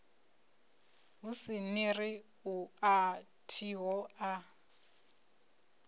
ni ri a thiho a